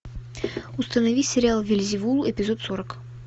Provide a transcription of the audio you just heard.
установи сериал вельзевул эпизод сорок